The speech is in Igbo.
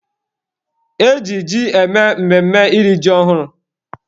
E ji ji eme mmemme iri ji ọhụrụ